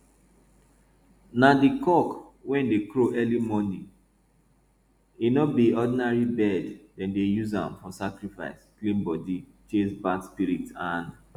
na di cock wey dey crow early morning e no be ordinary bird dem dey use am for sacrifice clean body chase bad spirit and